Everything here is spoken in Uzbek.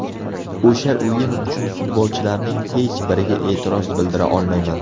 O‘sha o‘yin uchun futbolchilarning hech biriga e’tiroz bildira olmayman.